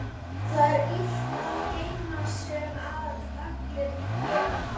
Það er illt að geyma sem allir girnast.